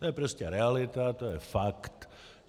To je prostě realita, to je fakt.